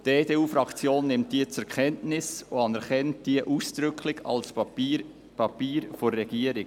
Die EDU-Fraktion nimmt diese zur Kenntnis und anerkennt diese ausdrücklich als Papier der Regierung.